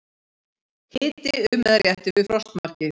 Hiti um eða rétt yfir frostmarki